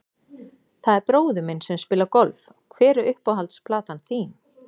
Það er bróðir minn sem spilar golf Hver er uppáhalds platan þín?